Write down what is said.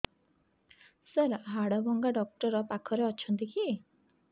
ସାର ହାଡଭଙ୍ଗା ଡକ୍ଟର ପାଖରେ ଅଛନ୍ତି କି